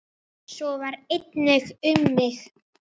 Svo var einnig um mig.